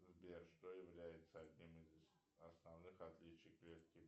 сбер что является одним из основных отличий клетки